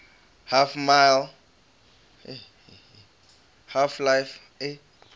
half life mod counter strike